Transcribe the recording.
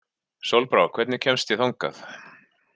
Sólbrá, hvernig kemst ég þangað?